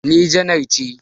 Ni janar ce